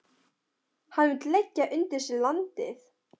Hann vill leggja undir sig landið.